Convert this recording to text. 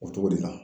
O cogo de la